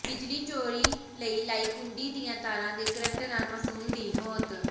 ਬਿਜਲੀ ਚੋਰੀ ਲਈ ਲਾਈ ਕੁੰਡੀ ਦੀਆਂ ਤਾਰਾਂ ਦੇ ਕਰੰਟ ਨਾਲ ਮਾਸੂਮ ਦੀ ਮੌਤ